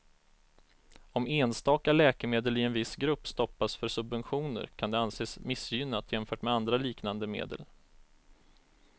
Om enstaka läkemedel i en viss grupp stoppas för subventioner kan det anses missgynnat jämfört med andra liknande medel.